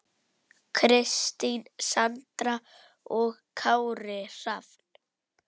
Kristín Sandra og Kári Rafn.